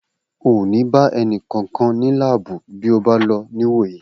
O ò ní bá ẹni kankan nínú láàbù bí ó bá lọ ní ìwò yìí